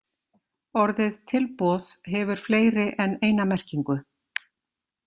Orðið tilboð hefur fleiri en eina merkingu.